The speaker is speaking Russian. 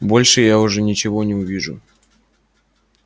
больше я уже ничего не увижу